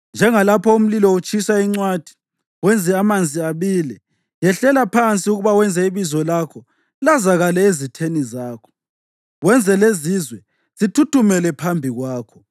Njengalapho umlilo utshisa incwathi wenze amanzi abile, yehlela phansi ukuba wenze ibizo lakho lazakale ezitheni zakho, wenze lezizwe zithuthumele phambi kwakho.